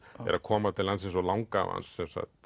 er að koma til landsins og langafi hans